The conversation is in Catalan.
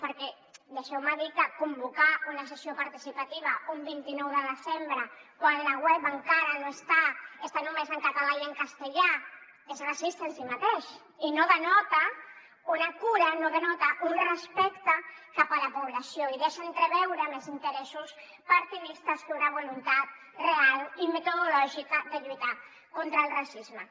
perquè deixeu me dir que convocar una sessió participativa un vint nou de desembre quan la web encara està només en català i en castellà és racista en si mateix i no denota una cura no denota un respecte cap a la població i deixa entreveure més interessos partidistes que una voluntat real i metodològica de lluitar contra el racisme